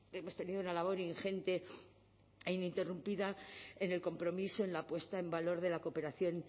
hemos tenido una labor ingente e ininterrumpida en el compromiso en la puesta en valor de la cooperación